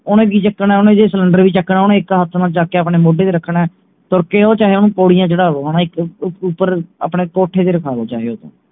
ਓਹਨੇ ਕਿ ਚੁੱਕਣਾ ਓਹਨੇ ਜੇ ਸਿਲੰਡਰ ਵੀ ਚੁੱਕਣਾ ਓਹਨੇ ਇਕ ਹੱਥ ਨਾਲ ਚੁੱਕ ਕੇ ਆਪਣੇ ਮੋਢੇ ਤੇ ਰੱਖਣਾ ਮੁੜਕੇ ਚਾਹੇ ਓਹਨੂੰ ਪੌੜੀਆਂ ਚੜਾ ਲੋ ਉਹ ਉਪਰ ਆਪਣੇ ਕੋਠੇ ਤੇ ਰਖਾ ਲੋ ਚਾਇ ਓਹਤੋਂ